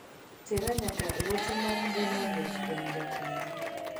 Tera nyaka e ote mar mbui ma owuok kuom jatenda.